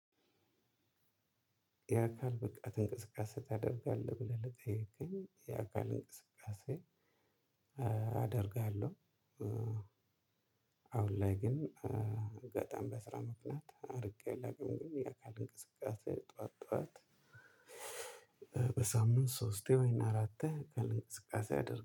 የአካል ብቃት እንቅስቃሴ ታደርጋለህ ብለህ ለጠይቅከኝ የአካል እንቅስቃሴ አደርጋለሁ። አሁን ላይ ግን በጣም በስራ ምክንያት አድርጌ አላቅም። የአካል እንቅስቃሴ ጠዋት ጠዋት በሳምንት ሶስቴ ወይን አራቴ ቀን እንቅስቃሴ አድርጎ